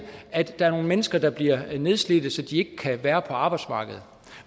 at der er nogle mennesker der bliver nedslidte så de ikke kan være på arbejdsmarkedet